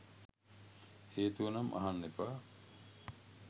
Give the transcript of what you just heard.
හේතුවනම් අහන්න එපා.